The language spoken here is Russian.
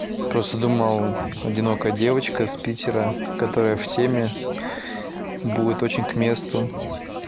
просто думал одинокая девочка с питера которая в теме будет очень к месту